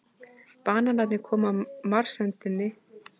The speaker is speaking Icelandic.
Bananarnir koma marserndi inn á sviðið og það gustar af þeim.